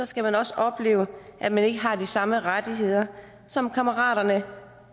skal man også opleve at man ikke har de samme rettigheder som kammeraterne